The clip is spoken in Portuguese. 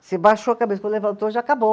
Você baixou a cabeça, quando levantou já acabou.